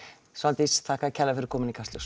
Svandís þakka þér kærlega fyrir komuna í Kastljós